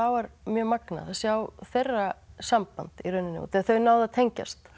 var mjög magnað að sjá þeirra samband í rauninni út að þau náðu að tengjast